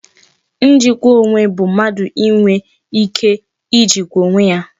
Njikwa onwe bụ mmadụ inwe ike Ijikwa onwe ya